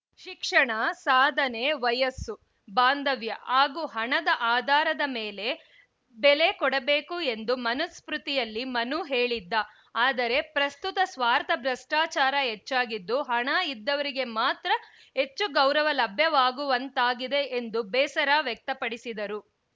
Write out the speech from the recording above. ಶಿಕ್ಷಣ ಸಾಧನೆ ವಯಸ್ಸು ಬಾಂಧವ್ಯ ಹಾಗೂ ಹಣದ ಆಧಾರದ ಮೇಲೆ ಬೆಲೆ ಕೊಡಬೇಕು ಎಂದು ಮನುಸ್ಮೃತಿಯಲ್ಲಿ ಮನು ಹೇಳಿದ್ದ ಆದರೆ ಪ್ರಸ್ತುತ ಸ್ವಾರ್ಥ ಭ್ರಷ್ಟಾಚಾರ ಹೆಚ್ಚಾಗಿದ್ದು ಹಣ ಇದ್ದವರಿಗೆ ಮಾತ್ರ ಹೆಚ್ಚು ಗೌರವ ಲಭ್ಯವಾಗುವಂತಾಗಿದೆ ಎಂದು ಬೇಸರ ವ್ಯಕ್ತ ಪಡಿಸಿದರು